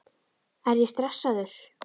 Er ég stressaður?